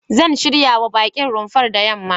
Zan shiryawa baƙin rumfar da yamma.